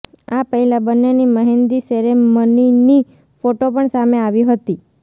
આ પહેલાં બન્નેની મહેંદી સેરેમનીની ફોટો પણ સામે આવી હતી